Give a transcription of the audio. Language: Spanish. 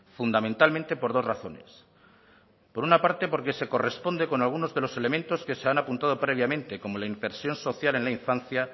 fundamentalmente por dos razones por una parte porque se corresponde con algunos de los elementos que se han apuntado previamente como la inversión social en la infancia